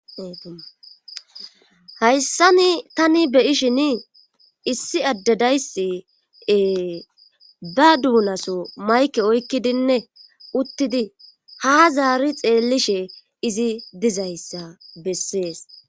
Hayssani tani beyishin issi addedaysiee ba duunaso mayke oykkidinne uttidi ha zaari xeellishe izi dizayssa bessees.